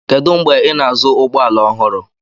Kedu mgbe ị na-azụ ụgbọ ala ọhụrụ?